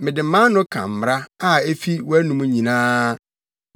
Mede mʼano ka mmara a efi wʼanom nyinaa.